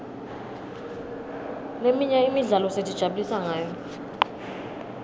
leminye imidlalo sitijabulisa ngayo